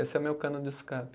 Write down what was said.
Esse é o meu cano de escape.